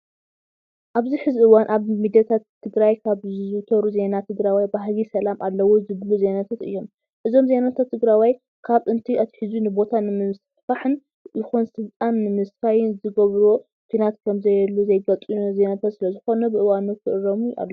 ኣብዚ ሕዚ እዋን ኣብ ሚዲያታትትግራይ ካብ ዝዝውተሩ ዜናታት ትግራዋይ ባህጊ ሰላም ኣለዎ ዝብሉ ዜናታት እዮም። እዞም ዜናታት ትግራዋይ ካብ ጥንቲ ኣትሒዙ ንቦታ ንምስፍሕፋሕ ይኹን ስልጣን ንምስፋይ ዝገበሮ ኩናት ከምዘየሉ ዘይገልፁ ዜናታት ስለዝኾኑ ብእዋኑ ክእረሙ ኣለዎም።